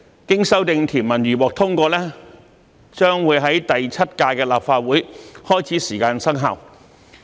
經修訂條文如獲通過，將於第七屆立法會開始時生效。